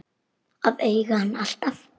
Að eiga hann alltaf.